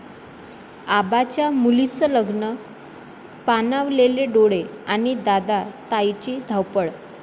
आबांच्या मुलीचं लग्न, पाणावलेले डोळे आणि दादा, ताईंची धावपळ!